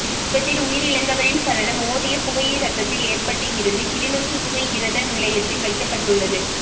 விபத்தில் உயிரிழந்தவரின் சடலம் மோதிய புகையிரத்தத்தில் ஏற்றப்பட்டு இருந்து கிளிநொச்சி புகையிரத நிலையத்தில் வைக்கப்பட்டுள்ளது